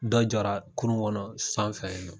Dɔ jɔra kurun kɔnɔ sanfɛ ye.